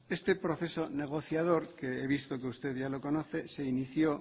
este proceso negociador que he visto que usted ya lo conoce se inició